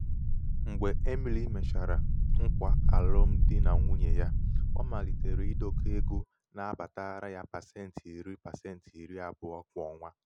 ịna-edokọ ego pasenti iri abụọ na -eme ka égo na-abata na -amụba amụba n'ogologo oge.